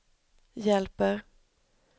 hjälper